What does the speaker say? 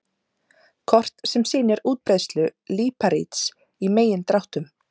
Kort sem sýnir útbreiðslu líparíts í megindráttum.